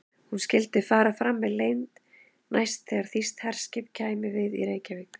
Hún skyldi fara fram með leynd, næst þegar þýskt herskip kæmi við í Reykjavík.